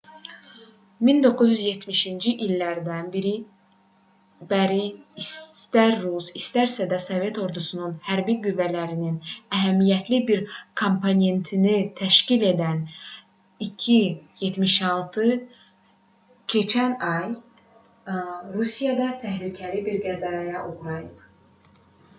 1970-ci illərdən bəri istər rus istərsə də sovet ordusunun hərbi qüvvələrinin əhəmiyyətli bir komponentini təşkil edən il-76 keçən ay rusiyada təhlükəli bir qəzaya uğrayıb